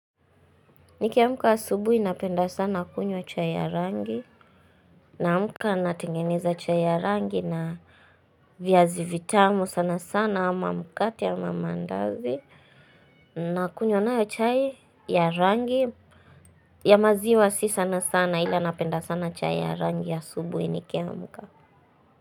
Nikiamka asubuhi napenda sana kunywa chai ya rangi, naamuka natengeneza chai ya rangi na viazi vitamu sana sana ama mkate ama maandazi, nakunywa nayo chai ya rangi ya maziwa si sana sana ila napenda sana chai ya rangi asubuhi nikiamka.